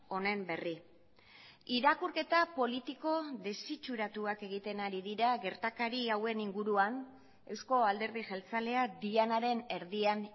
honen berri irakurketa politiko desitxuratuak egiten ari dira gertakari hauen inguruan euzko alderdi jeltzaleak dianaren erdian